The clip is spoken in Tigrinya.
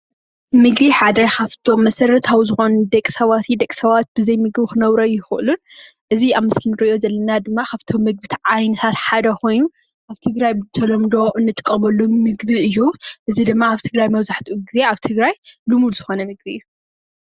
ምግቢ ሓደ ኻፍቶም መሰረታዊ ዝኾኑ ንደቂሰባት ብዘይምግቢ ኽነብሩ ኣይኽእሉን እዚ ኣብ ምስሊ እንሪኦ ዘለና ድማ ኻብቶም ናይ ምግቢ ዓይነታት ሓደ ኾይኑ ኣብ ትግራይ ብተለምዶ እንጥቀመሉ ምግቢ እዪ።